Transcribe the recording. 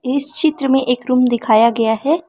इस चित्र में एक रूम दिखाया गया है।